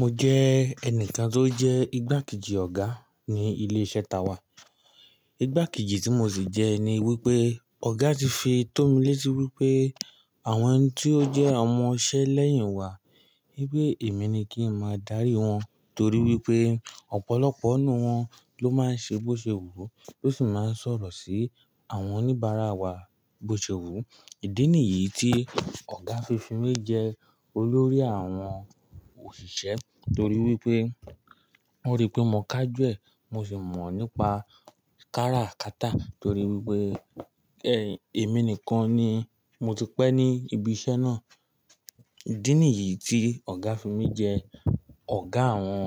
Mo jẹ́ ẹnìkan tó jẹ́ igbákejì ọ̀gá ní ilé iṣẹ́ táa wà. Igbákejì tí mo sì jẹ́ ni wípé ọ̀gá ti fi tó mi létí wípé àwọn tí ó jẹ́ ọmọṣẹ́ lẹ́yìn wa wípé èmi ni kí ń máa darí wọn torí wípé ọ̀pọ̀lọpọ̀ nú wọn ló máa ń ṣe bóṣewù tó sì máa ń sọ̀rọ̀ sí àwọn oníbàárà wa bóṣewù. Ìdí nìyí tí ọ̀gá fi fi mi jẹ olórí àwọn òṣìṣẹ́ torí wípé wọ́n rí pé mò ká jù ẹ, mo sì mọ̀ nípa kára kátà torí wípé èmi nìkan ni mo ti pẹ́ ní ibi iṣẹ́ náà. Ìdí nìyí tí ọ̀gá fi mi jẹ ọ̀gá àwọn